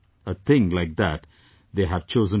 A thing like that they have chosen to give up